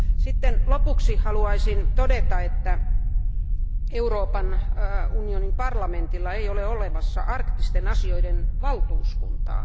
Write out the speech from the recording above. Sitten lopuksi haluaisin todeta, että Euroopan unionin parlamentilla ei ole olemassa arktisten asioiden valtuuskuntaa.